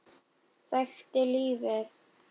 Þekkti lífið.